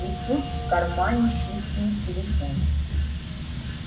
и тут в кармане пискнул телефон